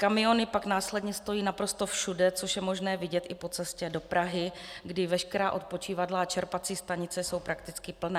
Kamiony pak následně stojí naprosto všude, což je možné vidět i po cestě do Prahy, kdy veškerá odpočívadla a čerpací stanice jsou prakticky plná.